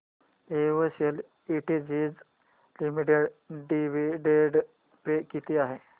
Excel industries limited dividend pay किती आहे